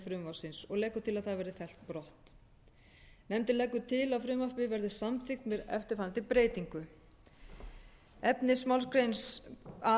frumvarpsins og leggur til að það verði fellt brott nefndin leggur til að frumvarpið verði samþykkt með eftirfarandi breytingu efnismálsgrein a